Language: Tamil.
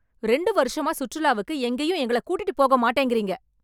ரெண்டு வருஷமா சுற்றுலாவுக்கு எங்கேயும் எங்கள கூட்டிகிட்டு போக மாட்டேங்கறீங்க...